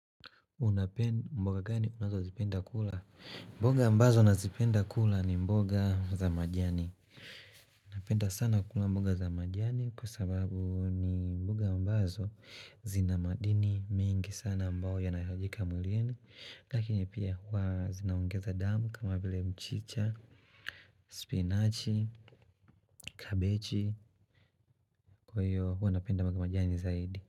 Mboga ambazo nazipenda kula ni mboga za majani. Napenda sana kula mboga za majani kwa sababu ni mboga ambazo zina madini mengi sana ambayo yanahitajika mwilini lakini pia huwa zinaongeza damu kama vile mchicha, spinachi, kabeji kwa hiyo huwa napenda mboga majani zaidi.